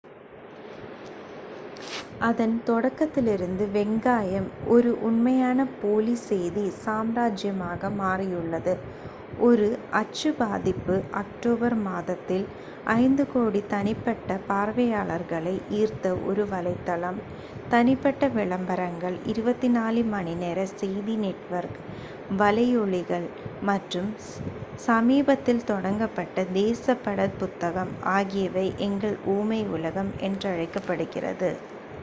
அதன் தொடக்கத்திலிருந்து வெங்காயம் ஒரு உண்மையான போலி செய்தி சாம்ராஜ்யமாக மாறியுள்ளது ஒரு அச்சு பதிப்பு அக்டோபர் மாதத்தில் 5,000,000 தனிப்பட்ட பார்வையாளர்களை ஈர்த்த ஒரு வலைத்தளம் தனிப்பட்ட விளம்பரங்கள் 24 மணி நேர செய்தி நெட்வொர்க் வலையொளிகள் மற்றும் சமீபத்தில் தொடங்கப்பட்ட தேசப்பட புத்தகம் ஆகியவை எங்கள் ஊமை உலகம் என்றழைக்கப்படுகிறது